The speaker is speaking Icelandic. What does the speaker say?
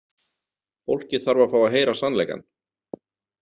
Fólkið þarf að fá að heyra sannleikann.